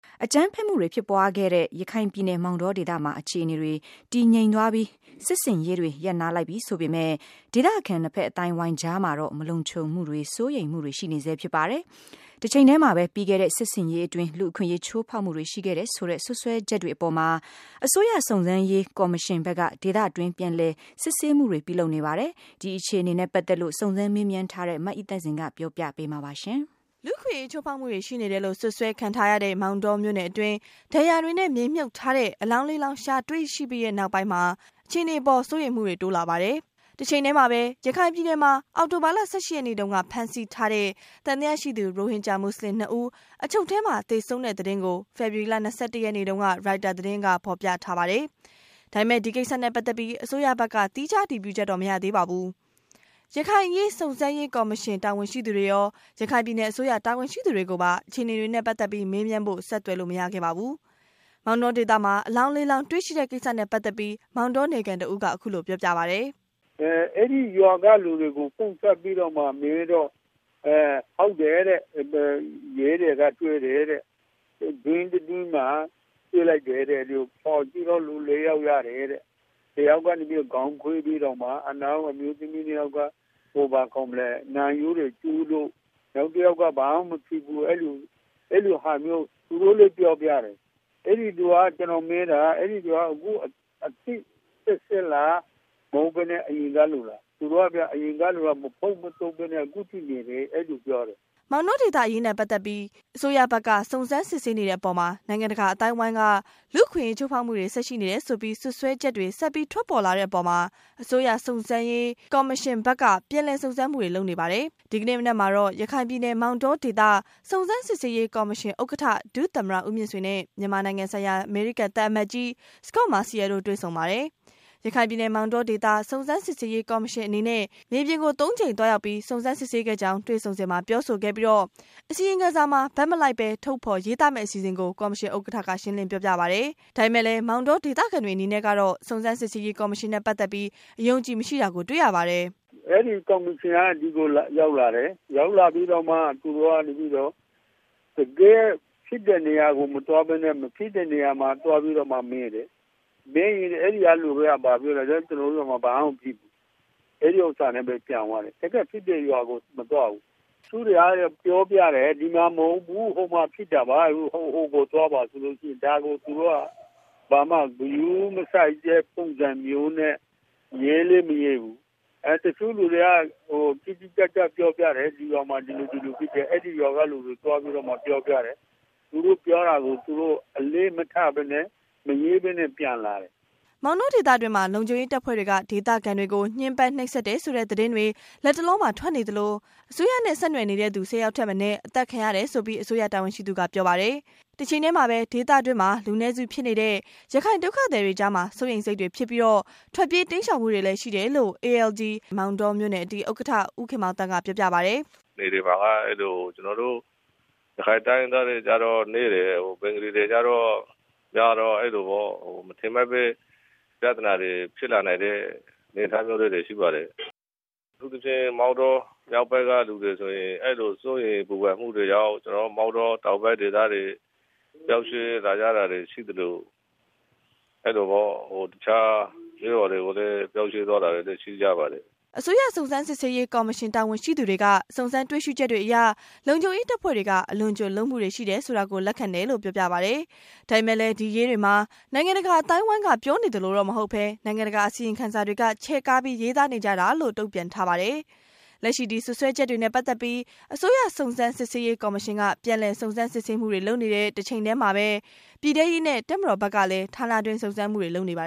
အကြမ်းဖက်မှုတွေဖြစ်ခဲ့တဲ့ ရခိုင်ပြည်နယ်မောင်တောဒေသမှာ အခြေအနေတွေ တည်ငြိမ်သွားပြီး၊ စစ်ဆင်ရေးတွေ ရပ်နားလိုက်ပြီ ဆိုပေမယ့် ဒေသခံ နှစ်ဖက် အသိုင်းအဝိုင်းအကြားမှာတော့ မလုံခြံမှုတွေ စိုးရိမ်စိတ်တွေ ရှိနေဆဲဖြစ်ပါတယ်။ တချိန်တည်းမှာပဲ ပြီးခဲ့တဲ့ စစ်ဆင်ရေးအတွင်း လူ့အခွင့်အရေးချိုးဖောက်မှုတွေ ရှိခဲ့တယ်ဆိုတဲ့ စွပ်စွဲချက်တွေအပေါ်မှာ၊ အစိုးရစုံစမ်းရေးကော်မရှင် ဘက်က ဒေသတွင်း ပြန်လည်စစ်ဆေးမှုတွေ ပြုလုပ်နေပါတယ်။ ဒီအခြေအနေတွေနဲ့ပတ်သက်လို့ စုံစမ်းမေးမြန်းထားတဲ့ မအိသန့်စင်က ပြောပြမှာပါ။ လူ့အခွင့်အရေးချိုးဖောက်မှုတွေ ရှိနေတယ်လို့စွပ်စွဲခံရတဲ့ မောင်တောမြို့နယ်အတွင်း ဒဏ်ရာတွေနဲ့မြေမြုပ်ထားတဲ့ အလောင်း လောင်း ရှာတွေ့ခဲ့တဲ့နောက်၊ အခြေအနေအပေါ် စိုးရိမ်မှုတွေ တိုးလာပါတယ်။ တချိန်တည်းမှာပဲ ရခိုင်ပြည်နယ်မှာ အောက်တိုဘာလ ၁၈ ရက်နေ့တုန်းက ဖမ်းဆီးထားတဲ့ သံသယရှိသူ ရိုဟင်ဂျာမွတ်စလင် ဦး အချုပ်ထဲမှာ သေဆုံးတဲ့သတင်းကို ဖေဖော်ဝါရီလ ၂၁ ရက်နေ့မှာ ရိုက်တာ သတင်းက ဖော်ပြထားပါတယ်။ ဒါပေမယ့် ဒီကိစ္စနဲ့ ပတ်သက်ပြီး အစိုးရဘက်က သီးခြားအတည်ပြုချက်တော့ မရသေးပါဘူး။ ရခိုင်အရေး စုံစမ်းရေးကော်မရှင်တာဝန်ရှိသူတွေရော ရခိုင်ပြည်နယ်အစိုးရ တာဝန်ရှိသူတွေကိုပါ ဒီအခြေအနေတွေနဲ့ပတ်သက်လို့ မေးမြန်းဖို့ ဆက်သွယ်မေးမြန်းလို့မရပါဘူး။ မောင်တောဒေသမှာ အလောင်း လောင်း တွေ့ရှိတဲ့ ကိစ္စနဲ့ ပတ်သတ်ပြီး မောင်တောနယ်ခံ တစ်ဦး က ခုလို ပြောပြပါတယ်။ “အဲဒီရွာကလူတွေကိုကပ်ပြီးတော့မေးတော့ ဟုတ်တယ်တဲ့၊ ရဲတွေကတွေ့တယ်တဲ့၊ တွင်းတတွင်းမှာ တွေ့လိုက်တယ်တဲ့၊ ဖော်ကြည့်တော့ လူ ၄ ယောက်ရတယ်တဲ့ တယောက်ကနေပြီးတော့ ခေါင်းကွေးပြီးတော့တောင်မှနေတယ်၊ နောက် မိန်းမ၂ ယောက် က နံရိုးတွေကျိုးလို့ နောက်တယောက်က ဘာမှမဖြစ်ဘူး အဲလိုဟာမျိုး သူတို့ပြောပြတယ်။ အသစ်စက်စက်လား မဟုတ်ပဲနဲ့ အရင်ကလူတွေလား၊ သူတို့ကပြောတော့ မပုပ်မသိုးပဲနဲ့ အခုထိနေတယ် အဲလိုပြောတယ်။” မောင်တောဒေသအရေးနဲ့ပတ်သက်ပြီး အစိုးရဘက်က စုံစမ်း စစ်ဆေးနေတဲ့ အပေါ်မှာ နိုင်ငံတကာအသိုင်းအဝိုင်းက လူ့အခွင့်အရေးချိုူးဖောက်မှုတွေ ဆက်ရှိနေတယ်ဆိုပြီး စွပ်စွဲချက်တွေ ဆက်ထွက်ပေါ်လာတဲ့အပေါ်မှာ အစိုးရ စုံစမ်းရေးကော်မရှင်ဘက် က ပြန်လည်စုံစမ်းမှုတွေ လုပ်နေပါတယ်။ ဒီကနေ့ မနက်မှာတော့ ရခိုင်ပြည်နယ် မောင်တောဒေသ စုံစမ်းစစ်ဆေးရေးကော်မရှင်ဥက္ကဌ ဒုသမ္မတ ဦးမြင့်ဆွေ နဲ့ မြန်မာနိုင်ငံဆိုင်ရာ အမေရိကန်သံအမတ်ကြီး စကော့တ် မာစီရယ်လ်တို့တွေ့ဆုံပါတယ်။ ရခိုင်ပြည်နယ်မောင်တောဒေသ စုံစမ်းစစ်ဆေးရေးကော်မရှင် အနေနဲ့ မြေပြင်ကို ကြိမ်သွားရောက်ပြီး စုံစမ်းစစ်ဆေးခဲ့ကြောင်း တွေ့ဆုံစဉ် ပြောဆိုခဲ့ပြီး အစီရင်ခံစာမှာ ဘက်မလိုက်ဘဲ ထုတ်ဖော်ရေးသားမယ့်အစီအစဉ် ကို ကော်မရှင်ဥက္ကဌက ရှင်းလင်းပြောပြပါတယ်။ ဒါပေမယ့်လည်း မောင်တောဒေသခံတွေအနေနဲ့ကတော့ စုံစမ်းစစ်ဆေးရေးကော်မရှင်နဲ့ ပတ်သက်ပြီး အယုံအကြည်မရှိတာကို တွေ့ရပါတယ်။ “အဲဒီကော်မရှင်ကလူတွေ ဒီကိုရောက်လာတယ်၊ ရောက်လာပြီးတော့မှ တကယ့်ဖြစ်တဲ့နေရာ ကိုမသွားပဲနဲ့ ၊ မဖြစ်တဲ့နေရာကို သွားပြီးတော့မေးတယ်။ မေးရင်အဲဒီကလူတွေက ဘာပြောသလဲဆိုတော့ ကျနော်တို့ရွာမှာ ဘာမှမဖြစ်ဘူး အဲဒီဟာနဲ့ ပြန်သွားတယ်၊ တကယ့်ဖြစ်တဲ့ရွာကို မသွားဘူး။ တချို့တွေကပြောတယ် ဒီမှာမဟုတ်ဘူး ဖြစ်တာက ဟိုမှာပါဆိုပြီးတော့ ၊ ဟိုကိုသွားပါဆိုတော့ ဒါကိုသူတို့က ဂရုမစိုက်တဲ့ ပုံစံမျိုးနဲ့ သူတို့ ရေးလည်းမရေးဘူး၊ တချို့လူတွေက တိတိကျကျ ပြောပြတယ်၊ ဒီရွာမှာ ဒီလိုဖြစ်တယ် အဲဒီရွာကလူတွေသွားပြီးတော့ ပြောပြတယ် ၊ သူတို့ပြောတာကို အလေးမထားပဲနဲ့ မရေးပဲနဲ့ ပြန်လာတယ်။” မောင်တောဒေသတွင်းမှာ လုံခြုံရေးတပ်ဖွဲ့တွေက ဒေသခံတွေကို ညှင်းပန်းနှိပ်စက် တယ်ဆိုတဲ့ သတင်းတွေ လတ်တလောမှာ ထွက်နေသလို၊ အစိုးရနဲ့ ဆက်နွယ်နေတဲ့သူ ၁၀ ယောက်ထက်မနည်း အသတ်ခံရတယ်ဆိုပြီး အစိုးရတာဝန်ရှိသူက ပြောပါတယ်။ တချိန်တည်းမှာပဲ ဒေသတွင်းမှာ လူနည်းစုဖြစ်နေတဲ့ ရခိုင်ဒုက္ခသည်တွေကြားမှာ စိုးရိမ်စိတ်တွေဖြစ်ပြီး ထွက်ပြေးတိမ်းရှောင်မှုတွေလည်း ရှိတယ်လို့ALD မောင်တောမြို့နယ် ဥက္ကဌ ဦးခင်မောင်သန်းကပြောပါတယ်။ “နယ်တွေမှာက အဲဒီလို ကျနော်တို့ ရခိုင်တိုင်းရင်းသားတွေကတော့ နည်းတယ်၊ ဘင်္ဂလီတွေကတော့ များတော့ အဲလိုမထင်မှတ်ပဲနဲ့ ပြဿနာတွေဖြစ်လာနိုင်တဲ့ အနေအထားမျိုးလေးတွေရှိပါတယ်။ အထူးသဖြင့် မောင်တောမြောက်ပိုင်းကလူတွေဆိုရင် အဲလိုစိုးရိမ်ပူပန်မှုတွေကြောင့် ကျနော်တို့ မောင်တောတောင်ဘက်ဒေသတွေ ရောက် ရှိလာကြတာတွေရှိသလို ၊ အဲလိုတခြားကျေးရွာတွေကို လည်း ပြောင်းရွှေ့သွားတာတွေ ရှိပါတယ်။” အစိုးရစုံစမ်းစစ်ဆေးရေးကော်မရှင်တာဝန်ရှိသူတွေက စုံစမ်းတွေ့ရှိချက်တွေအရ လုံခြုံရေးတပ်ဖွဲ့တွေက အလွန်အကျွံလုပ်မှုတွေ ရှိတယ်ဆိုတာကို လက်ခံတယ် လို့ပြောပါတယ်။ ဒါပေမယ့် ဒီအရေးတွေ မှာ နိုင်ငံတကာအသိုင်းအဝိုင်း က ပြောနေသလိုတော့ မဟုတ်ဘဲ နိုင်ငံတကာ အစီရင်ခံစာတွေဟာ ချဲ့ကားပြီး ရေးသားနေ ကြတာလို့လည်း တုံ့ ပြန်ထားပါတယ်။ လက်ရှိဒီစွပ်စွဲချက်တွေနဲ့ ပတ်သက်ပြီး အစိုးရစုံစမ်းစစ်ဆေးရေးကော်မရှင်က ပြန်လည်စုံစမ်းစစ်ဆေးမှုတွေ လုပ်နေတဲ့ တချိန်တည်းမှာပဲ ပြည်ထဲရေးနဲ့ တပ်မတော်ဘက်ကလည်း ဌာနတွင်း စုံစမ်းမှုတွေ လုပ်နေပါ